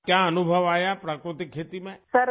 آپ کو قدرتی کاشتکاری میں کیا تجربہ ہے؟